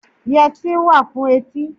Yẹtí wà fún etí.